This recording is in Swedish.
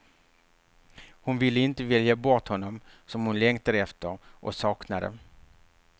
Hon ville inte välja bort honom som hon längtade efter, och saknade.